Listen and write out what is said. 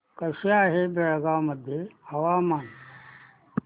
कसे आहे बेळगाव मध्ये हवामान